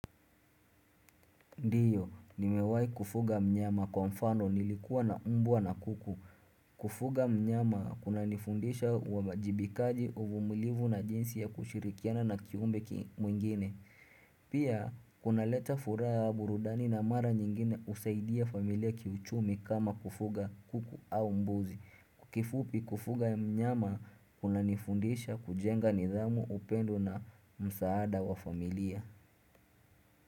Ndio, nimewahi kufuga mnyama kwa mfano nilikuwa na umbwa na kuku. Kufuga mnyama kuna nifundisha uwajibikaji uvumilivu na jinsi ya kushirikiana na kiumbe mwingine. Pia, kuna leta furaha ya burudani na mara nyingine usaidia familia kiuchumi kama kufuga kuku au mbuzi. Kifupi kufuga mnyama kuna nifundisha kujenga nidhamu upendo na msaada wa familia.